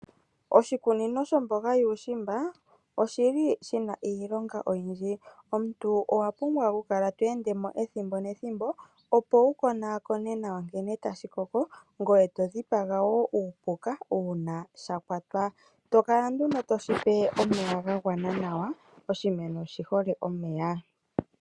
Oshikunino shomboga yuushimba, oshi li shina iilonga oyindji. Omuntu owa pumbwa oku kala to endemo ethimbo nethimbo opo wu konaakone nawa nkene tashi koko, ngoye to dhipaga wo uupuka uuna sha kwatwa. To kala nduno ti shi pe omeya ga gwana nawa, oshimeno oshi hole omeya.